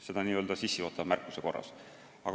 Seda n-ö sissejuhatava märkuse korras.